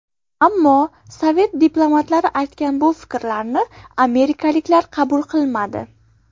Ammo sovet diplomatlari aytgan bu fikrlarni amerikaliklar qabul qilmadi.